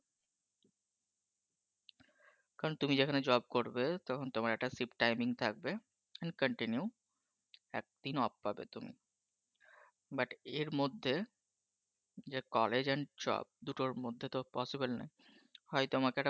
কারণ তুমি যেখানে চাকরি করবে তখন তোমার একটা shift timing থাকবে continue একদিন off পাবে তুমি। কিন্তু এর মধ্যে যে college এবং job দুটোর মধ্যে তো possible নয় বলে হয়তো আমাকে